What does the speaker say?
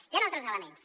hi han altres elements